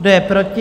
Kdo je proti?